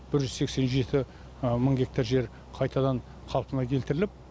бір жүз сексен жеті мың гектар жер қайтадан қалпына келтіріліп